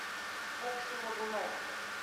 окси логунову